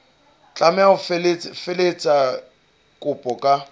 tlameha ho felehetsa kopo ka